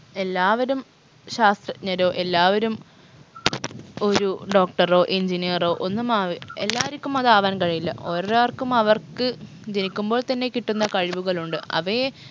എല്ലാവരും ശാസ് നിരോ എല്ലാവരും ഒരു doctor ഓ engineer ഓ ഒന്നുമാവി എല്ലാരിക്കും അത് ആവാൻ കഴിയില്ല ഓരോരർക്കും അവർക്ക് ജനിക്കുമ്പോൾ തന്നെ കിട്ടുന്ന കഴിവുകളുണ്ട് അവയെ